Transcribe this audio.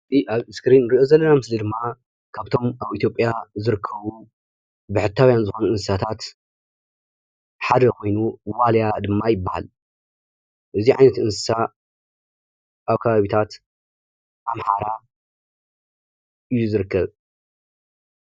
እዚ ኣብ እስክሪን ንሪኦ ዘለና ምስሊ ድማ ካብቶም ኣብ ኢትዮጵያ ዝርከቡ ብሕታውያን ዝኾኑ እንስሳታት ሓደ ኾይኑ ዋልያ ድማ ይበሃል፡፡ እዚ ዓይነት እንስሳ ኣብ ከባቢታት ኣምሓራ እዩ ዝርከብ፡፡